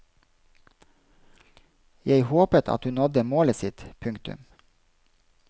Jeg håpet at hun nådde målet sitt. punktum